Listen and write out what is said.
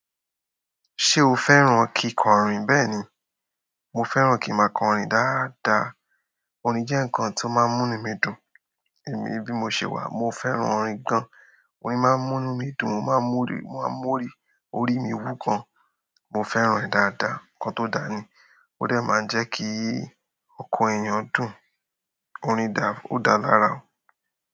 Ṣé o fẹ́ràn kí kò rìn? Bẹ́ẹ̀ni, mo fẹ́ràn kí máa kọrin dáadáa. Orin jẹ́ nǹkan tó máa ń mú inú mi dùn, èmi bí mo ṣe wà. Mo fẹ́ràn orin gan. Orin máa ń mú inú mi dùn, máa ń múri, mo máa ń múri, orí mi wú gan. Mo fẹ́ràn ẹ̀ dáadáa. Ǹkan tó dani, ó dẹ máa jẹ́ kí ọkàn èèyàn dùn. Orin dà, ó dáa lára.